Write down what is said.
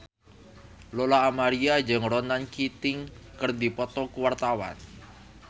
Lola Amaria jeung Ronan Keating keur dipoto ku wartawan